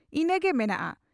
ᱤᱱᱟᱹᱜᱮ ᱢᱮᱱᱟᱜᱼᱟ ᱾